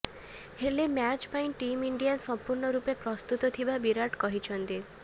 ହେଲେ ମ୍ୟାଚ୍ ପାଇଁ team India ସମ୍ପୂର୍ଣ୍ଣ ରୂପେ ପ୍ରସ୍ତୁତ ଥିବା ବିରାଟ କହିଛନ୍ତି